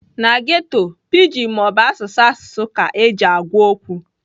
Na ghettos pidgin ma ọ bụ asụsụ asụsụ ka a na-eji agwa okwu.